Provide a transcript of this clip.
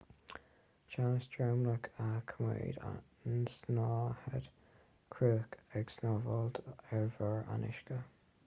teannas dromchla a choimeádann an tsnáthaid chruach ag snámhaíl ar bharr an uisce